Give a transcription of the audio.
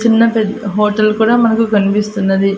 చిన్న పెద్ హోటల్ కూడా మనకు కన్పిస్తున్నది.